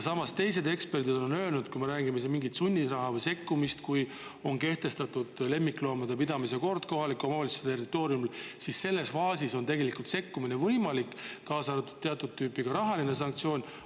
Samas on teised eksperdid öelnud, et kui me räägime mingist sunnirahast või sekkumisest, siis kui on kehtestatud kohaliku omavalitsuse territooriumil lemmikloomade pidamise kord, siis tegelikult on sekkumine võimalik, kaasa arvatud teatud tüüpi rahaline sanktsioon.